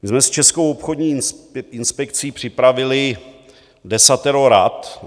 My jsme s Českou obchodní inspekcí připravili desatero rad.